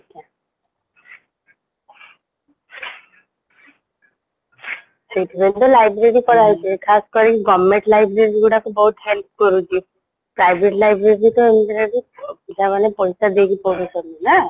ସେଇଥିପାଇଁ ତା library କରାହେଇଚି ଖାସ କରି government library ଗୁଡାକ ବହୁତ help କରୁଛି private library ତ ଏମିତିରେବି ପିଲାମାନେ ପଇସା ଦେଇକି ପଢୁଛନ୍ତିନା